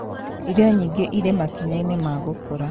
Irio nyingĩ irĩ makinya-inĩ ma gũkũra